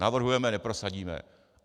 Navrhujeme, neprosadíme.